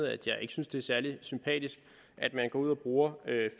at jeg ikke synes det er særlig sympatisk at man går ud og bruger